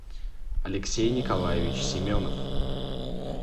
алексей николаевич семенов